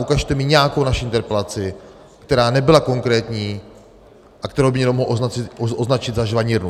Ukažte mi nějakou naši interpelaci, která nebyla konkrétní a kterou by někdo mohl označit za žvanírnu.